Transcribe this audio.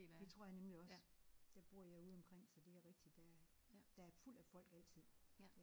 Det tror jeg nemlig også. Der bor jeg ude omkring så det er rigtigt der er der er fuld af folk altid